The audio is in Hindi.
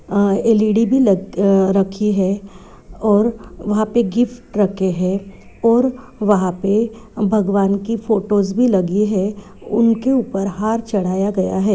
अ एल.ई.डी. भी ल अ रखे है और वहां पे गिफ्ट रखे है और वहां पे भगवान की फोटोज भी लगी है उनके ऊपर हार चढ़ाया गया है।